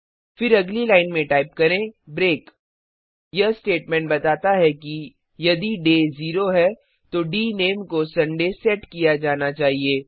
फिर अगली लाइन में टाइप करें ब्रेक यह स्टेटमेंट बताता है कि यदि डे दिन 0 है तो डीनेम को सुंदय रविवार सेट किया जाना चाहिए